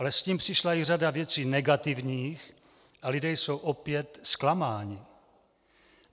Ale s tím přišla i řada věcí negativních a lidé jsou opět zklamáni.